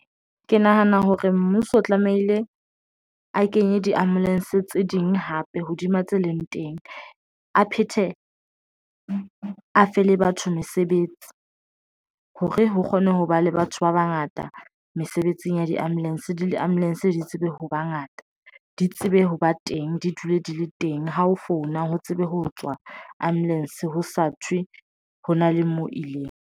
Ke nahana hore mmuso o tlamehile a kenye diambulanse tse ding hape, hodima tse leng teng, a phethe afe le batho mesebetsi hore ho kgone ho ba le batho ba bangata mesebetsing ya diambulanse le diambulanse, di tsebe ho bangata di tsebe ho ba teng, di dule di le teng. Ha ho founa ho tsebe ho tswa ambulanse, ho sa thwe ho na le moo ileng.